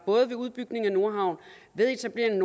med udbygningen af nordhavn ved etableringen